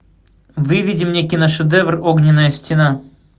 выведи мне киношедевр огненная стена